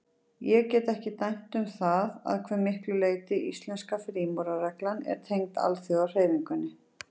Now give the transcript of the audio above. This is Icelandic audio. Ég get ekki dæmt um það, að hve miklu leyti íslenska frímúrarareglan er tengd alþjóðahreyfingunni.